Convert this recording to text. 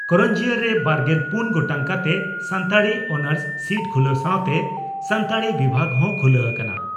ᱠᱟᱨᱟᱱᱡᱤᱭᱟ) ᱨᱮ ᱵᱟᱨᱜᱮᱞ ᱯᱩᱱ ᱜᱚᱴᱟᱝ ᱠᱟᱛᱮ ᱥᱟᱱᱛᱟᱲᱤ ᱚᱱᱟᱨᱥ ᱥᱤᱴ ᱠᱷᱩᱞᱟᱹ ᱥᱟᱣᱛᱮ ᱥᱟᱱᱛᱟᱲᱤ ᱵᱤᱵᱷᱟᱜᱽ ᱦᱚᱸ ᱠᱷᱩᱞᱟᱹ ᱟᱠᱟᱱᱟ ᱾